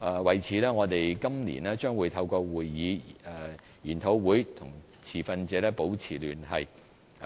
為此，我們今年將透過會議、研討會，與持份者保持聯繫，